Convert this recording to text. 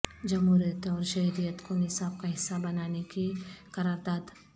جمہوریت اور شہریت کو نصاب کا حصہ بنانے کی قرارداد